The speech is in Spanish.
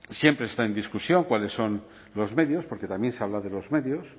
siempre está en discusión cuáles son los medios porque también se habla de los medios